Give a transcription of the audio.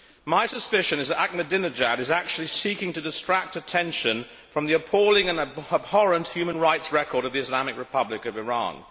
My suspicion is that Ahmadinejad is actually seeking to distract attention from the appalling and abhorrent human rights record of the Islamic Republic of Iran.